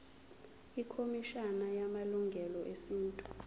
ikhomishana yamalungelo esintu